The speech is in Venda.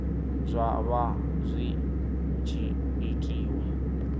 zwa vha zwi tshi itiwa